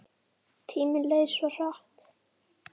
Tíminn leið svo hratt.